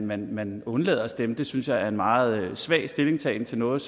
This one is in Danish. man man undlader at stemme synes jeg er en meget svag stillingtagen til noget